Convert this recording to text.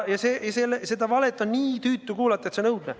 Seda valet on nii tüütu kuulata, et see on õudne.